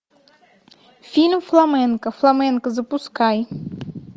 фильм фламенко фламенко запускай